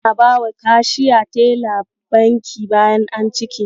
Ana bawa Kashiya teller banki bayan an cike.